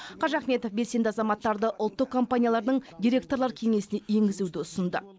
қожахметов белсенді азаматтарды ұлттық компаниялардың директорлар кеңесіне енгізуді ұсынды